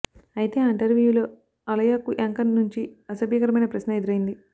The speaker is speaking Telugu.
అయితే ఆ ఇంటర్వ్యూలో అలాయాకు యాంకర్ నుంచి అసభ్యకరమైన ప్రశ్న ఎదురైంది